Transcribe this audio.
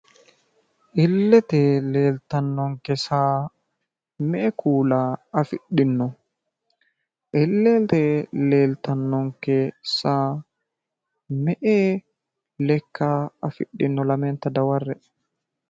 illete leeltannonke saa me'e kuula afidhinno? illete leeltannonke saa me'e lekka afidhino lamenta daware'e.